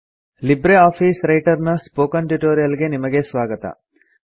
Libre office Writer ನ spoken tutorial ಗೆ ನಿಮಗೆ ಸ್ವಾಗತ